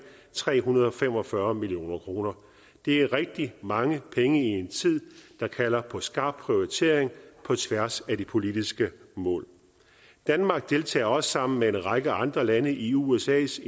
tre hundrede og fem og fyrre million kroner det er rigtig mange penge i en tid der kalder på skarp prioritering på tværs af de politiske mål danmark deltager også sammen med en række andre lande i usas